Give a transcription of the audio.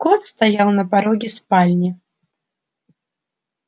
кот стоял на пороге спальни